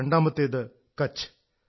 രണ്ടാമത്തേത് കച്ഛ്